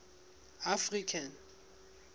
african